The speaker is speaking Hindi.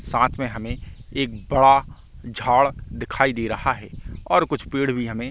साथ में हमे एक बड़ा झाड़ दिखाई दे रहा है और कुछ पेड़ भी हमे--